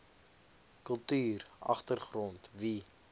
kultuur agtergrond wie